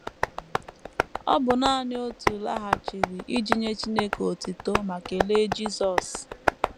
Ọ bụ nanị otu laghachiri iji nye Chineke otuto ma kelee Jisọs.